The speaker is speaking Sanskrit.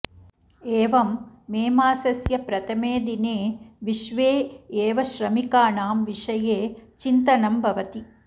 एवं मेमासस्य प्रथमे दिने विश्वे एव श्रमिकाणां विषये चिन्तनं भवति